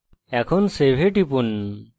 এখন save এ টিপুন